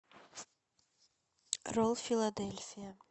ролл филадельфия